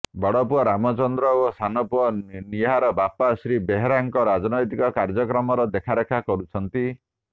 ବଡପୁଅ ରାମଚନ୍ଦ୍ର ଓ ସାନପୁଅ ନିହାର ବାପା ଶ୍ରୀ ବେହେରାଙ୍କ ରାଜନ୘ତିକ କାର୍ଯ୍ୟକ୍ରମର ଦେଖାରେଖା କରୁଛନ୍ତି